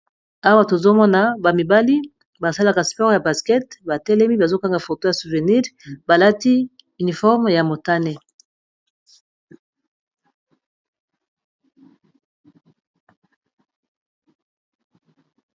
awa tozomona bamibali basalaka spore ya baskete batelemi bazokanga foto ya souvenire balati uniforme ya motane